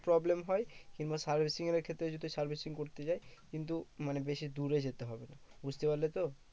Problem হয়। কিংবা servicing এর ক্ষেত্রে যদি servicing করতে যায় কিন্তু মানে বেশি দূরে যেতে হবে না। বুঝতে পারলে তো?